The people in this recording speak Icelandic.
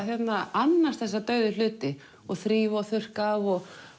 annast þessa dauðu hluti og þrífa og þurrka af og